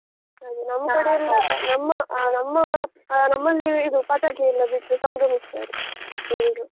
ನಮ್ ಕಡೆಯೆಲ್ಲಾ ನಮ್ಮ ಅಹ್ ನಮ್ಮ ಅಹ್ ನಮ್ಮಲ್ಲಿ ಇದು ಪಟಾಕಿಯೆಲ್ಲಾ ಬಿಟ್ಟು ಸಂಭ್ರಮಿಸ್ತಾರೆ, ಎಲ್ರು.